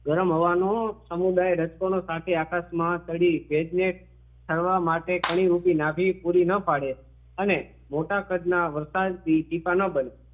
ગરમ હવા નું સમુદાય રજકણો સાથે આકાશમાં ચઢીને ભેજને ઠરવા માટે ઘણી રૂપી નાભી પૂરી ના પાડે અને મોટા કદના વરસાદથી ટીપાના બને